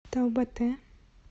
таубате